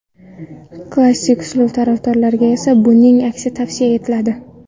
Klassik uslub tarafdorlariga esa buning aksi tavsiya etiladi.